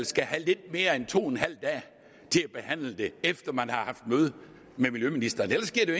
skal have lidt mere end to en halv dag til at behandle det efter man har haft møde med miljøministeren ellers giver det